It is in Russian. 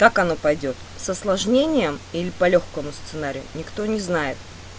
так оно пойдёт с осложнением или по лёгкому сценарию никто не знает